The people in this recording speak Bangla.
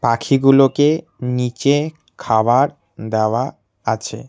পাখীগুলোকে নীচে খাবার দেওয়া আছে।